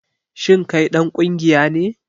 Shin kai dan kungiya ne?